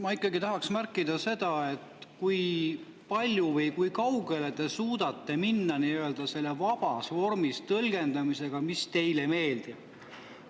Ma ikkagi tahan märkida seda, kui kaugele te suudate minna selle vabas vormis tõlgendamisega, mis teile meeldib.